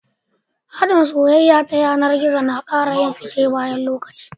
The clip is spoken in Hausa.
hadin soyayya ta yanar gizo nakara yin fice bayan lokaci